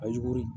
A ye jogo ye